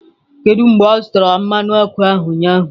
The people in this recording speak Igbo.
Kedu mgbe ọ zụtara mmanụ ọkụ ahụ, ụnyaahụ?